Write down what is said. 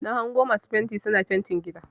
Na hango masu fenti suna fentin gida.